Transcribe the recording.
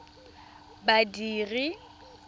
badiri